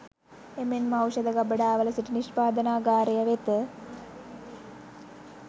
එමෙන්ම ඖෂධ ගබඩාවල සිට නිෂ්පාදනාගාරය වෙත